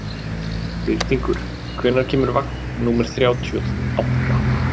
Birtingur, hvenær kemur vagn númer þrjátíu og átta?